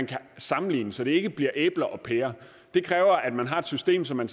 kan sammenligne så det ikke bliver æbler og pærer det kræver at man har et system så man